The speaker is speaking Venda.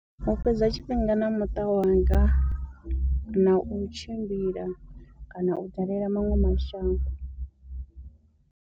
U fhedza tshifhinga na muṱa wanga, na u tshimbila kana u dalela maṅwe mashango.